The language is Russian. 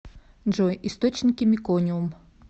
джой источники мекониум